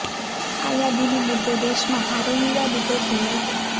આ યાદીને મુદ્દે દેશમાં ભારે વિવાદ ઉભો થયો હતો